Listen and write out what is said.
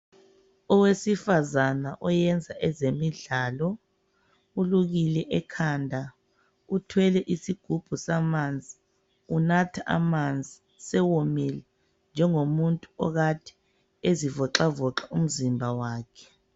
Owesifazana oyenza ezemidlalo ulukile ekhanda uthwele isigubhu samanzi unatha amanzi sewomile njengomuntu okade ezivoxavoxa umzimba wakhe.